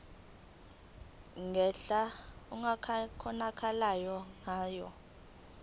ngendlela okungakhonakala ngayo